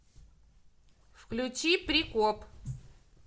включи прикоп